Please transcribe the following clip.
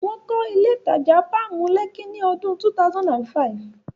Wọ́n kọ́ ilé ìtajà Páàmù, Lẹ́kí ní ọdún 2005.